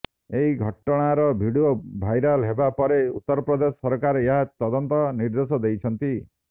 ଏହି ଘଟଣାର video viral ହେବା ପରେ ଉତ୍ତରପ୍ରଦେଶ ସରକାର ଏହାର ତଦନ୍ତ ନିର୍ଦେଶ ଦେଇଛନ୍ତି